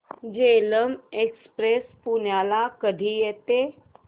Jhelum express पुण्याला कधी येते